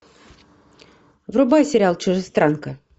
врубай сериал чужестранка